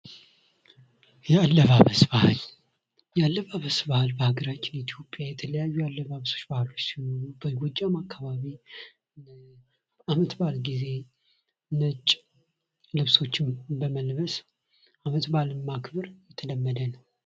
የአለባበስ ባህል የአለባብስ ባህል በሀገራችን ኢትዮጵያ የተለያዩ የአለባብስ ባህል ሲኖሩ በጎጃሙ አካባቢ አመትባል ጊዜ ነጭ ልብሶች በመልበስ አመትባልን ማክበር የተለመደ ነው።